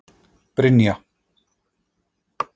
Brynja